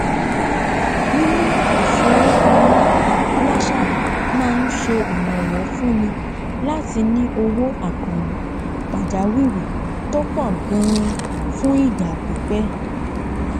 mímú ífowó pamọ làṣà má n se ìrànwọ fúnní látí ní owó àkànlò pàjáwìrì tó pọ ganan fún ìgbà pípẹ